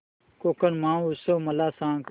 कोकण महोत्सव मला सांग